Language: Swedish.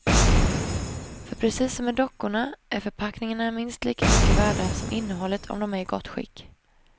För precis som med dockorna är förpackningarna minst lika mycket värda som innehållet om de är i gott skick.